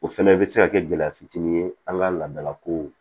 O fɛnɛ bɛ se ka kɛ gɛlɛya fitinin ye an ka laadala kow